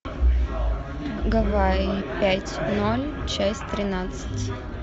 гавайи пять ноль часть тринадцать